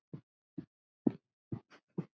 Böddi er hlýr.